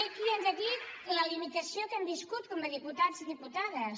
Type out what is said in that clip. també aquí hem de dir la limitació que hem viscut com a diputats i diputades